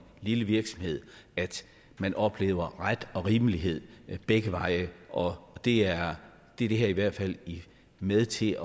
lille virksomhed at man oplever ret og rimelighed begge veje og det er det her i hvert fald med til